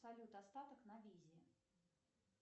салют остаток на визе